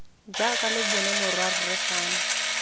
jaaka lo bona morwarre fano